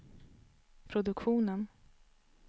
produktionen